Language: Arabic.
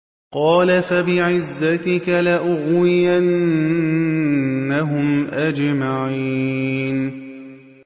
قَالَ فَبِعِزَّتِكَ لَأُغْوِيَنَّهُمْ أَجْمَعِينَ